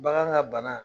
Bagan ŋa bana